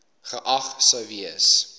geag sou gewees